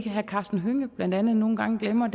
herre karsten hønge blandt andet nogle gange glemmer